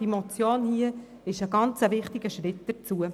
Die vorliegende Motion ist ein sehr wichtiger Schritt dazu.